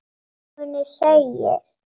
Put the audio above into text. Í sögunni segir: